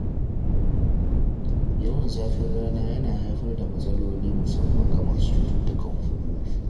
Yawan zafin rana yana haifar da matsaloli musamman ga masu cututtukan huhu.